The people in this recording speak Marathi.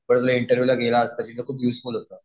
परत इंटरव्हिव्हला गेला तर तिथं खूपयुजफूल होतं.